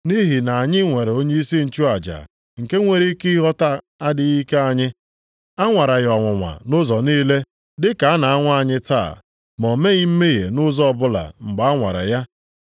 Nʼihi na anyị nwere onyeisi nchụaja nke nwere ike ịghọta adịghị ike anyị. A nwara ya ọnwụnwa nʼụzọ niile dị ka a na-anwa anyị taa. Ma, o meghị mmehie nʼụzọ ọbụla mgbe a nwara ya.